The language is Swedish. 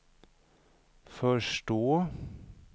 förstå